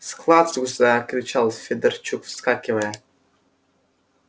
склад вдруг закричал федорчук вскакивая